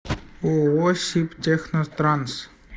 ооо сибтехнотранс